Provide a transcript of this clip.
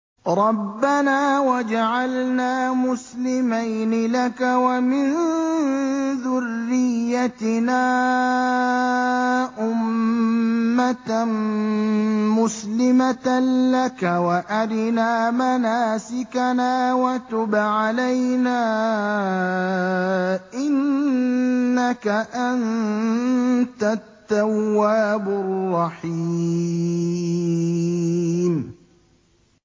رَبَّنَا وَاجْعَلْنَا مُسْلِمَيْنِ لَكَ وَمِن ذُرِّيَّتِنَا أُمَّةً مُّسْلِمَةً لَّكَ وَأَرِنَا مَنَاسِكَنَا وَتُبْ عَلَيْنَا ۖ إِنَّكَ أَنتَ التَّوَّابُ الرَّحِيمُ